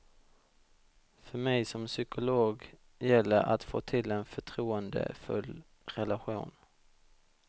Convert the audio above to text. För mig som psykolog gäller att få till en förtroendefull relation.